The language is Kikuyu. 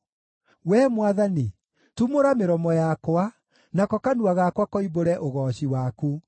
Wee Mwathani, tumũra mĩromo yakwa, nako kanua gakwa koimbũre ũgooci waku.